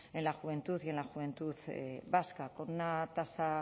en la juventud y en la juventud vasca con una tasa